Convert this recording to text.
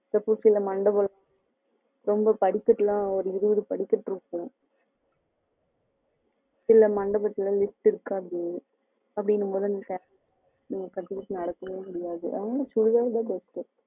suppose இந்த மண்டபத்துல ரெம்ப படிக்கட்டு எல்லாம் இருபது படிக்கட்டு இருக்கும் இல்ல மண்டபத்துல lift இருக்காது அப்படிங்கும் போது சேரி கட்டிக்கிட்டு நடக்கவே முடியாது அதனால சுடிதார் தான் best